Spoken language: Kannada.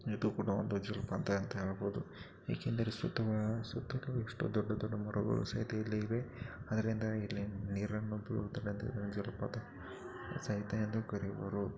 ಇದು ಕೂಡಾ ಒಂದು ಜಲಪಾತ ಅಂತಾ ಹೇಳಬಹುದು ಏಕೆಂದರೆ ಸುತ್ತ ಸುತ್ತ ಕಡೆ ದೊಡ್ಡ ದೊಡ್ಡ ಮರಗಳು ಸಹಿತ ಇಲ್ಲಿ ಇವೆ ಅದರಿಂದ ಇಲ್ಲಿ ನೀರನ್ನು ಜಲಪಾತ ಸಹಿತ ಎಂದು ಕರೆಯುವರು.